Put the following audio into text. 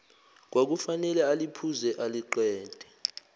kwakufanele aliphuze aliqede